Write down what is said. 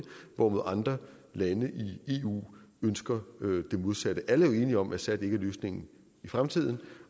hvorimod andre lande i eu ønsker det modsatte alle er jo enige om at assad ikke er løsningen i fremtiden